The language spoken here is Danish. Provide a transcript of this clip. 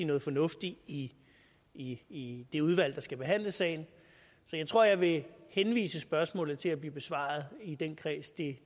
noget fornuftigt i i det udvalg der skal behandle sagen så jeg tror jeg vil henvise spørgsmålet til at blive besvaret i den kreds det